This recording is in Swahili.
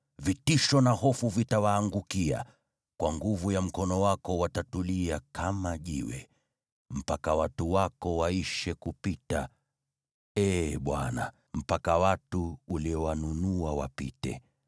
vitisho na hofu vitawaangukia. Kwa nguvu ya mkono wako watatulia kama jiwe, mpaka watu wako waishe kupita, Ee Bwana , mpaka watu uliowanunua wapite.